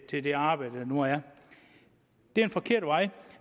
til det arbejde der nu er det er en forkert vej